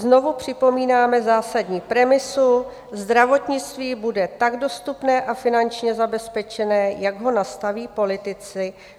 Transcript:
"Znovu připomínáme zásadní premisu: zdravotnictví bude tak dostupné a finančně zabezpečené, jak ho nastaví politici.